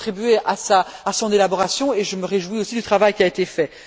J'ai contribué à son élaboration et je me réjouis aussi du travail qui a été fait.